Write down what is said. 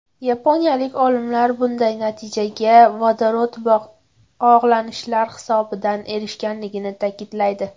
Yaponiyalik olimlar bunday natijaga vodorod bog‘lanishlar hisobidan erishilganligini ta’kidlaydi.